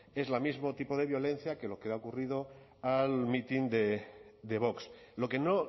es el mismo tipo de violencia que lo que ha ocurrido al mitin de vox lo que no